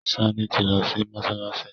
Sanni tí lọ si Mossalassi